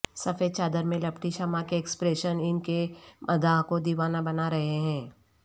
سفید چادر میں لپٹی شمع کے ایکسپریشن ان کے مداح کو دیوانہ بنا رہے ہیں